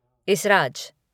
इसराज